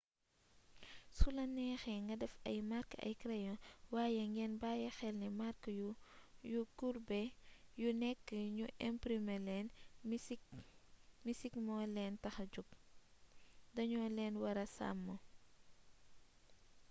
sula neexee nga def ay mark ay crayon waaye ngeen bàyyi xel ni màrk yu kurbe yi nekk ñu imprime leen misik moo leen taxa jog dañu leen wara sàmm